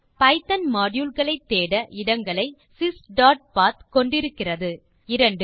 Python module களை தேட இடங்களை sysபத் கொண்டு இருக்கிறது 2